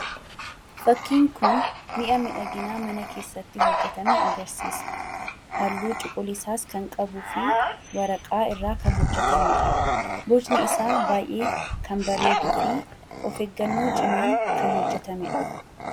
Fakkiin kun mi'a miidhaginaa mana keessatti itti fayyadamnuu dha. Fakkiin kunis bifa cuquliisaa kan qabuu fi waraqaa irraa kan hojjetamee dha. Bifni isaa cuquliisa kan ta'ee fi of eeggannoo cimaan kan hojjetamee dha.